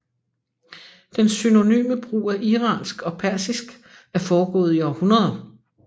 Den synonyme brug af iransk og persisk er foregået i århundreder